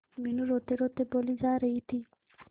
मीनू रोतेरोते बोली जा रही थी